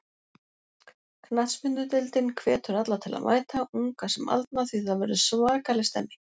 Knattspyrnudeildin hvetur alla til að mæta, unga sem aldna því það verður svakaleg stemning.